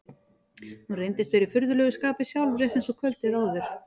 Hún reyndist vera í furðulegu skapi sjálf, rétt eins og kvöldið áður.